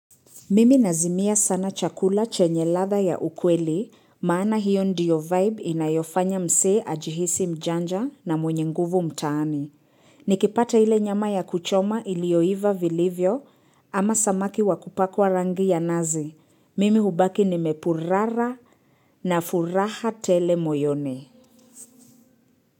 Mimi nazimia sana chakula chenye ladhaa ya ukweli, maana hiyo ndiyo vibe inayofanya msee ajihisi mjanja na mwenye nguvu mtaani. Nikipata hile nyama ya kuchoma ilioiva vilivyo ama samaki wakupakwa rangi ya nazi. Mimi hubaki nime purara na furaha tele moyoni.